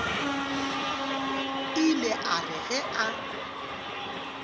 ile a re ge a